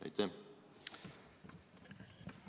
Aitäh!